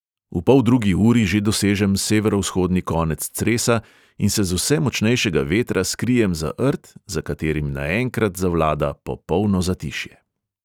V poldrugi uri že dosežem severovzhodni konec cresa in se z vse močnejšega vetra skrijem za rt, za katerim naenkrat zavlada popolno zatišje.